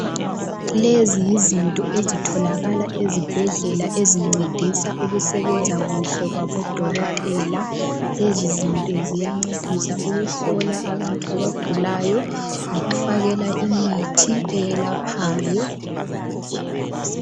Lezi yizinto ezitholakala ezibhedlela ezincedisa ukusebenza kuhle kwabodokotela. Lezi zinto ziyancedisa ukuhlola abantu abagulayo, lokufakela imithi eyelaphayo.